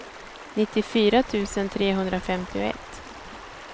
nittiofyra tusen trehundrafemtioett